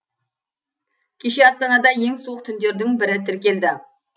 кеше астанада ең суық түндердің бірі тіркелді